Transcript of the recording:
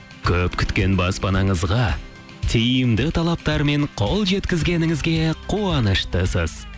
көп күткен баспанаңызға тиімді талаптармен қол жеткізгеніңізге қуаныштысыз